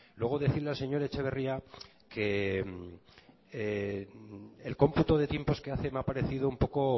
luego decirle al señor etxeberria que el cómputo de tiempos que hace me ha parecido un poco